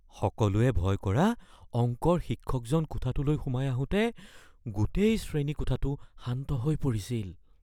সকলোৱে ভয় কৰা অংকৰ শিক্ষকজন কোঠাটোলৈ সোমাই আহোঁতে গোটেই শ্ৰেণীকোঠাটো শান্ত হৈ পৰিছিল।